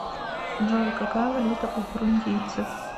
джой какая валюта у бурундийцев